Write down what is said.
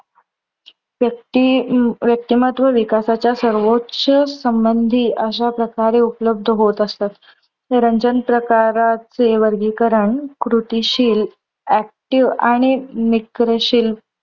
व्यक्ती अं व्यक्तिमत्वाच्या विकासाच्या सर्वोच्च संबंधी अश्याप्रकारे उपलब्ध होत असतात. रंजन प्रकाराचे वर्गीकरण कृतिशील active आणि निक्रशील